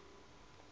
jwa nako e e ka